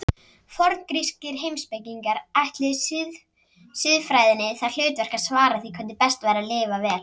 Forngrískir heimspekingar ætluðu siðfræðinni það hlutverk að svara því hvernig best væri að lifa vel.